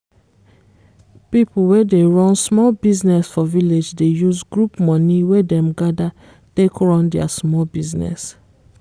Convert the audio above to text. people wey dey run small business for village dey use group money wey them gather take run their small business